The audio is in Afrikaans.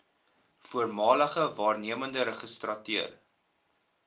voormalige waarnemende registrateur